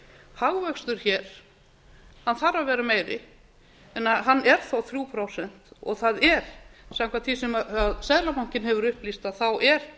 hagvöxtur hér þarf að vera meiri en hann er þó þrjú prósent og það er samkvæmt því sem seðlabankinn hefur upplýst er